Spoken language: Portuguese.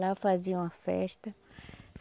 Lá faziam a festa.